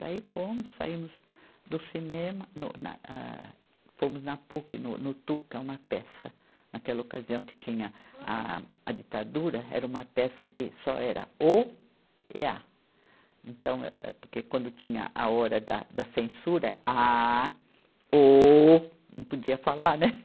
Daí fomos, saímos do cinema, no, na, âh, fomos na Puc, no, no Tu, que é uma peça, naquela ocasião que tinha a, a, a ditadura, era uma peça que só era Ô e A. Então, âh, porque quando tinha a hora da, da censura, A, Ô, não podia falar, né?